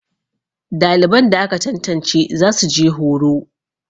daliban da aka tantance za su je horo